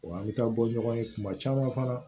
Wa an bɛ taa bɔ ɲɔgɔn ye tuma caman fana